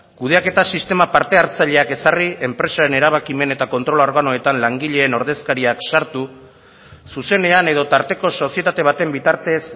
kudeaketa sistema parte hartzaileak ezarri enpresaren erabakimen eta kontrol organoetan langileen ordezkariak sartu zuzenean edo tarteko sozietate baten bitartez